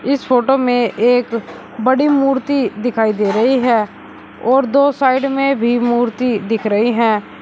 इस फोटो में एक बड़ी मूर्ति दिखाई दे रही है और दो साइड में भी मूर्ति दिख रही है।